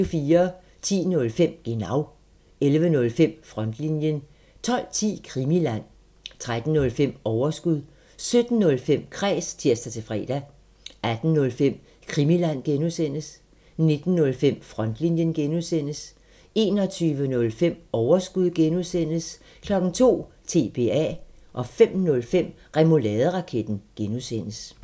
10:05: Genau 11:05: Frontlinjen 12:10: Krimiland 13:05: Overskud 17:05: Kræs (tir-fre) 18:05: Krimiland (G) 19:05: Frontlinjen (G) 21:05: Overskud (G) 02:00: TBA 05:05: Remouladeraketten (G)